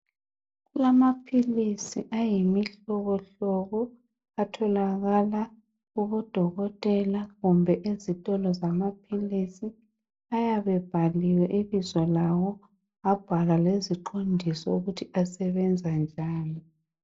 Kulamaphilisi ayimihlobohlobo atholakala kubo dokotela kumbe ezitolo zamaphilisi ayabe ebhaliwe ibizo lawo abhalwa lezixwayiso ukuthi asebenza njani.